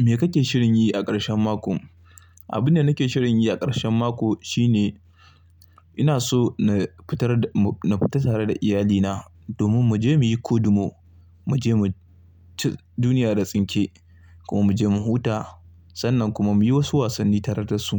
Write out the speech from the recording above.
Me kake shirin yi a ƙarshen mako? Abun da nake shirin yi a ƙarshen mako shine ina so na fitar, na fita tare da iyalina domin mu je muyi kodumo, mu je mu ci duniya da tsinke kuma mu je mu huta sannan kuma muyi wasu wasanni tare da su.